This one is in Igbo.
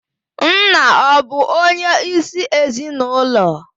Nna ọ̀ bụ onyeisi ezinụlọ?